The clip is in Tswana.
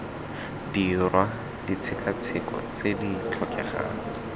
dirwa ditshekatsheko tse di tlhokegang